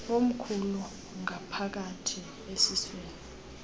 omkhulu ngaphakathi esiswini